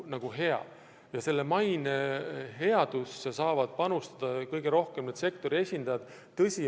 Põllumajanduse maine headusse saavad panustada kõige rohkem sektori esindajad ise.